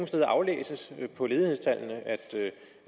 steder aflæses på ledighedstallene at